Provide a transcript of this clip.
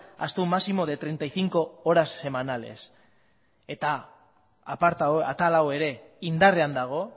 hasta un máximo de treinta y cinco horas semanales eta atal hau ere indarrean dago